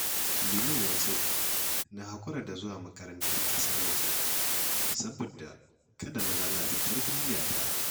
Liman ya ce na haƙura da zuwa makarantar ƙasar waje saboda kada na lalata tarbiyyata